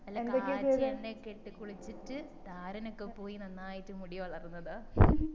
നല്ല കാച്ചിയ എണ്ണയൊക്കെ ഇട്ട് കുളിച്ചിട്ട് താരനൊക്കെ പോയി നന്നായി മുടി വളർന്നതാ